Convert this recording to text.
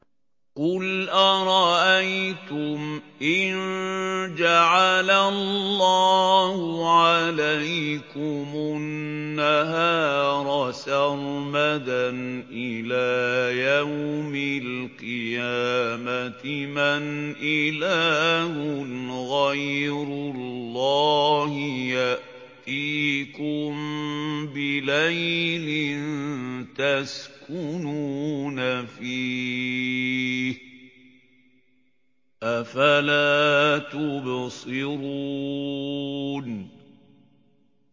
قُلْ أَرَأَيْتُمْ إِن جَعَلَ اللَّهُ عَلَيْكُمُ النَّهَارَ سَرْمَدًا إِلَىٰ يَوْمِ الْقِيَامَةِ مَنْ إِلَٰهٌ غَيْرُ اللَّهِ يَأْتِيكُم بِلَيْلٍ تَسْكُنُونَ فِيهِ ۖ أَفَلَا تُبْصِرُونَ